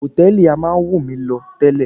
Hòtẹ́ẹ̀lì a máa wù mí lọ tẹ́lẹ̀.